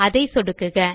அதை சொடுக்குக